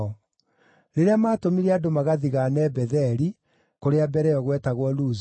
Rĩrĩa maatũmire andũ magathigaane Betheli (kũrĩa mbere ĩyo gwetagwo Luzu),